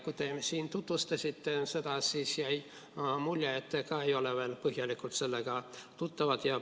Kui te siin seda tutvustasite, siis jäi mulje, et te ise ka ei ole veel põhjalikult sellega tutvunud.